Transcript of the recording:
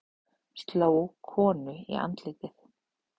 Sló konu í andlitið